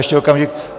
Ještě okamžik.